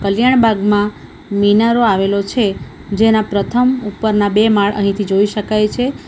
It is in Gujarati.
કલ્યાણ બાગમાં મિનારો આવેલો છે જેના પ્રથમ ઉપરના બે માળ અહીંથી જોઈ શકાય છે.